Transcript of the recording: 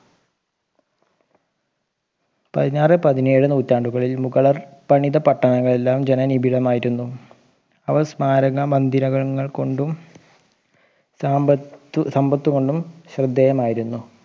പതിനാറ് പതിനാഴ് നൂറ്റാണ്ടുകളിൽ മുകളർ പണിത പട്ടണങ്ങൾ എല്ലാം ജന നിപിടമായിരുന്നു അവർ സ്മാരക മന്ദിരങ്ങൾ കൊണ്ടും സമ്പത്ത് കൊണ്ടും ശ്രദ്ധേയമായിരുന്നു